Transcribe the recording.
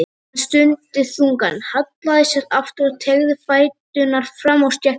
Hann stundi þungan, hallaði sér aftur og teygði fæturna fram á stéttina.